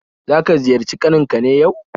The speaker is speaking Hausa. Zaka ziyarci kaninka ne yau?